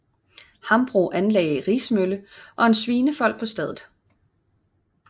Hambro anlagde en rismølle og en svinefold på stedet